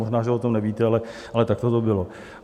Možná že o tom nevíte, ale takto to bylo.